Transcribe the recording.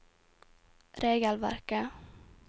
regelverket